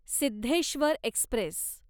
Siddheshwar Express